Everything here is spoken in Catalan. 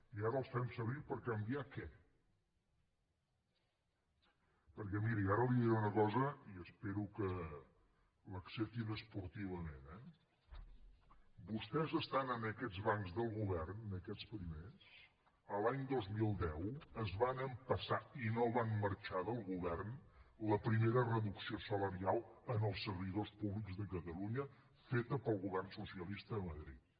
i ara els fem servir per canviar què perquè miri ara li diré una cosa i espero que l’acceptin esportivament eh vostès estant en aquests bancs del govern en aquests primers l’any dos mil deu es van empassar i no van marxar del govern la primera reducció salarial als servidors públics de catalunya feta pel govern socialista a madrid